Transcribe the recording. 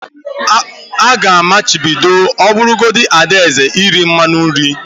A ga-amachibido ọbụlagodi Ada eze iri mmanụ nri